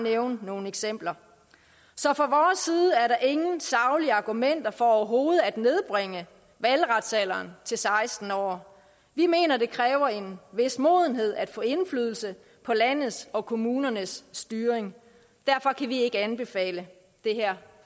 at nævne nogle eksempler så fra vores side er der ingen saglige argumenter for overhovedet at nedbringe valgretsalderen til seksten år vi mener det kræver en vis modenhed at få indflydelse på landets og kommunernes styring derfor kan vi ikke anbefale det her